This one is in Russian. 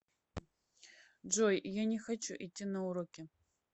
джой я не хочу идти на уроки